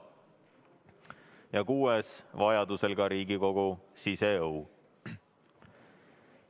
Ja kuues, kui vaja, ka Riigikogu siseõu.